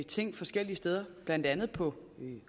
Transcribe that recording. ting forskellige steder blandt andet på